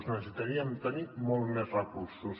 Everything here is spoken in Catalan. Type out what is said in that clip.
necessitaríem tenir molts més recursos